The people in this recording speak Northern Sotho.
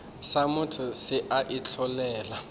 sa motho se a itlholela